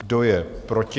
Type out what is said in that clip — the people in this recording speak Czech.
Kdo je proti?